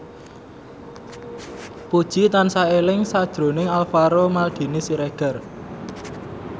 Puji tansah eling sakjroning Alvaro Maldini Siregar